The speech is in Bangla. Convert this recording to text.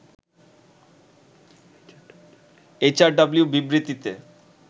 এইচআরডব্লিউর বিবৃতিতে